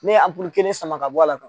Ne ye a kelen sama ka bɔ a la